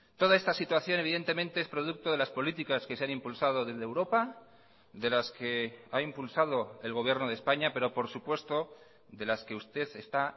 toda esta situación evidentemente es producto de las políticas que se han impulsado desde europa de las que ha impulsado el gobierno de españa pero por supuesto de las que usted está